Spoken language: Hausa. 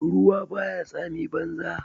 Ruwa ba ya tsami banza.